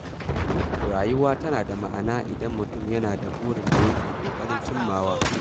Rayuwa tana da ma’ana idan mutum yana da burin da yake ƙoƙarin cimmawa.